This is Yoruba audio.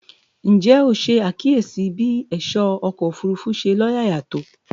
Ǹjẹ́ o ṣe àkíyèsí bí ẹ̀ṣọ́ ọkọ̀ òfurufú ṣe lóyàyà tó?